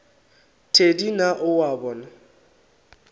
thedi na o a bona